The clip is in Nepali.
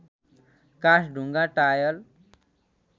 काठ ढुङ्गा टायल